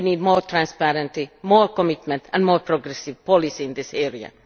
We need more transparency, more commitment and more progressive policy in this area.